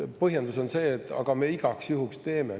Põhjendus on see: aga me igaks juhuks teeme.